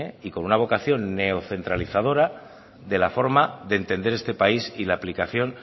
y con una vocación neocentralizadora de la forma de entender este país y la aplicación